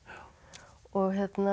og